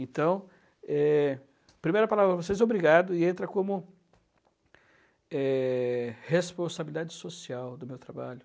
Então, eh, a primeira palavra para vocês é obrigado, e entra como, eh, responsabilidade social do meu trabalho.